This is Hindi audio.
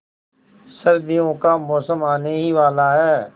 सर्दियों का मौसम आने ही वाला है